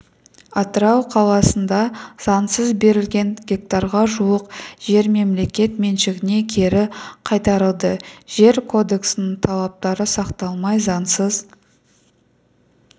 атырау қаласында заңсыз берілген гектарға жуық жер мемлекет меншігіне кері қайтарылды жер кодексінің талаптары сақталмай заңсыз